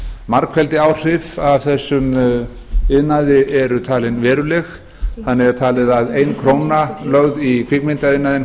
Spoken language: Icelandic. margfeldisáhrif af þessum iðnaði eru talin veruleg þannig er talið að ein króna lögð í kvikmyndaiðnaðinn